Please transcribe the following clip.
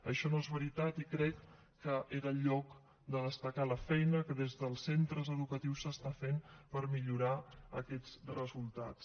això no és veritat i crec que era el lloc de destacar la feina que des del centres educatius s’està fent per millorar aquests resultats